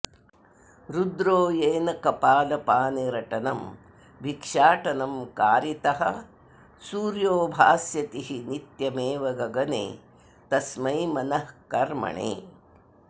रुद्रो येन कपालपानिरटनं भिक्षाटनं कारितः सूर्यो भास्यतिः नित्यमेव गगणे तस्मै मनः कर्मणे